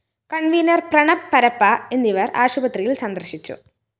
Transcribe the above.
convener‍ Pranab Parappa എന്നിവര്‍ ആശുപത്രിയില്‍ സന്ദര്‍ശിച്ചു